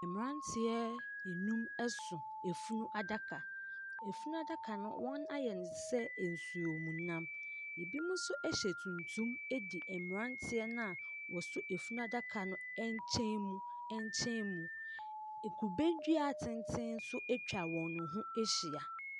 Mmranteɛ anum ɛso afunu adaka. afunu adaka no wɔn ayɛ ne tesɛ nsuo mu nam. Ebi mo nso ɛhyɛ tuntum de mmranteɛ naa wɔsɔ afunu adaka no ɛnkyɛn mu. Ekube dua tenten so at wɔn ho ahyia.